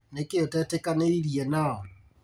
Nĩkĩ ũtetĩkanĩirie nao?